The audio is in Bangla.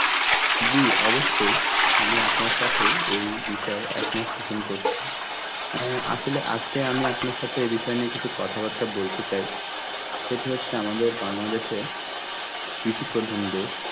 জি অবশ্যই, আমি আপনার সাথে এই বিষয় একমত পোষণ করছি. অ্যাঁ আসলে আজকে আমি আপনার সাথে এই বিষয় নিয়ে কিছু কথাবার্তা বলতে চাই, সেটি হচ্ছে আমাদের Bangladesh এ কৃষি প্রধান দেশ